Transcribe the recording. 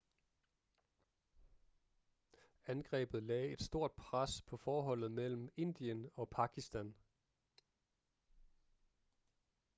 angrebet lagde et stort pres på forholdet mellem indien og pakistan